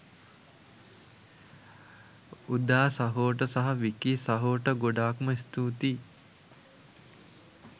උදා සහෝට සහ විකී සහෝට ගොඩාක්ම ස්තුතියි